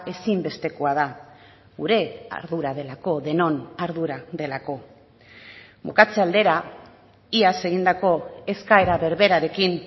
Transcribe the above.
ezinbestekoa da gure ardura delako denon ardura delako bukatze aldera iaz egindako eskaera berberarekin